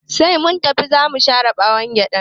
Sai sun tafi zamu share ɓawon gyaɗan